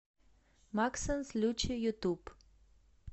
максэнс лючи ютуб